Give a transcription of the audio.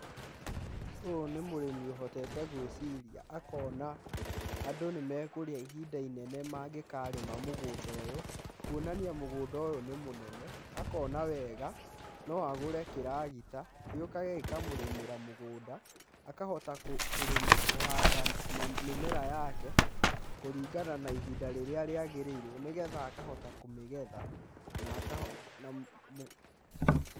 Ũyũ nĩ mũrĩmi ũhotete gwĩciria akona andũ nĩ mekũrĩa ihinda inene mangĩkarĩma mũgũnda ũyũ kuonania mũgũnda ũyũ nĩ mũnene, akona wega na agũre kĩragita gĩgoka gĩkamũrĩmĩra mũgũnda akahota kũhanda mĩmera yake kũrigana na ihinda rĩrĩa rĩgĩrĩire nĩgetha akahota kũmĩgetha na.....